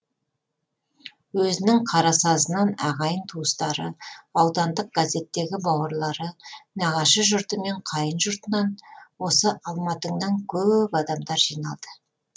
өзінің қарасазынан ағайын туыстары аудандық газеттегі бауырлары нағашы жұрты мен қайын жұртынан осы алматыңнан көп адамдар жиналды